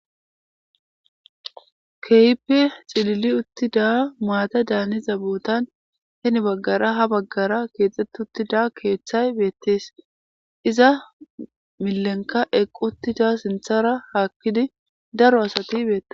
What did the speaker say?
Keeyppe xilili uttida maata daaniza bootan heni baggara ha baggara keexxete uttida keeththay beettees iza milenka eqqu uttida sinthara haakkidi daro asati beette.